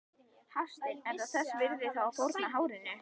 Hafsteinn: Er það þess virði þá að fórna hárinu?